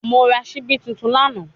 Mo ra sibi tuntun lana